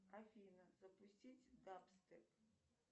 афина запустить дабстеп